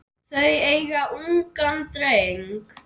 Þau eiga ungan dreng.